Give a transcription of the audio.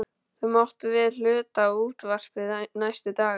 Þú mátt víst hluta á útvarpið næstu daga.